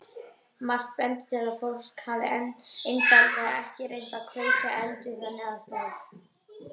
Margt bendir til að fólk hafi einfaldlega ekki reynt að kveikja eld við þannig aðstæður.